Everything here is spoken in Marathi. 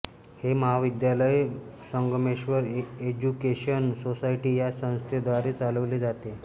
हे महाविद्यालय संगमेश्वर एज्युकेशन सोसायटी या संस्थेद्वारे चालवले जाते